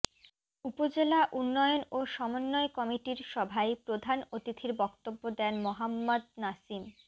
উপজেলা উন্নয়ন ও সমন্বয় কমিটির সভায় প্রধান অতিথির বক্তব্য দেন মোহাম্মদ নাসিম